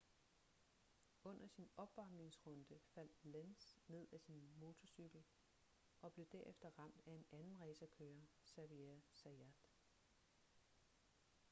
under sin opvarmningsrunde faldt lenz ned af sin motorcykel og blev derefter ramt af en anden racerkører xavier zayat